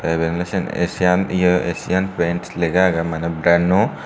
eben ole seyan asian paints lega agey mane brano.